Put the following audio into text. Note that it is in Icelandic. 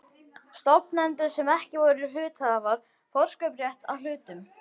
stofnendum sem ekki voru hluthafar, forkaupsrétt að hlutum.